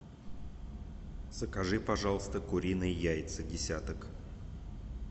закажи пожалуйста куриные яйца десяток